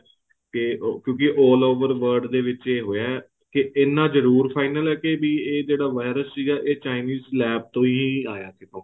ਕੇ ਉਹ ਕਿਉਂਕਿ all over world ਦੇ ਵਿੱਚ ਏ ਹੋਇਆ ਕੇ ਇੰਨਾ ਜਰੂਰ finial ਏ ਕੀ ਵੀ ਏ ਜਿਹੜਾ virus ਸੀਗਾ ਇਹ chines labs ਤੋਂ ਹੀ ਆਇਆ ਸੀ ਉਹ